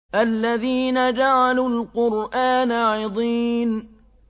الَّذِينَ جَعَلُوا الْقُرْآنَ عِضِينَ